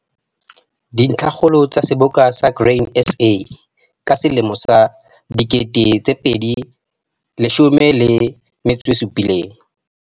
Dintlhakgolo tsa seboka sa Grain SA 2017.